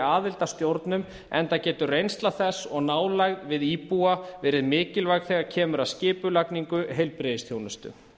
aðild að stjórnum enda getur reynsla þess og nálægð við íbúa verið mikilvæg þegar kemur að skipulagningu heilbrigðisþjónustu